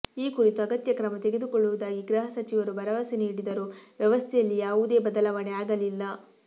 ಈ ಕುರಿತು ಅಗತ್ಯ ಕ್ರಮ ತೆಗೆದುಕೊಳ್ಳುವುದಾಗಿ ಗೃಹ ಸಚಿವರು ಭರವಸೆ ನೀಡಿದರೂ ವ್ಯವಸ್ಥೆಯಲ್ಲಿಯಾವುದೇ ಬದಲಾವಣೆ ಆಗಲಿಲ್ಲ